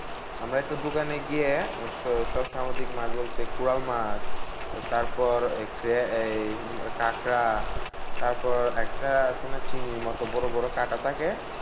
আমরা একটা দোকানে গিয়ে অবশ্য সব সামুদ্রিক মাছ বলতে, কোরাল মাছ তারপর এই কাঁকড়া তারপর একটা আছে না? চিংড়ির মতো বড়বড় কাঁটা থাকে,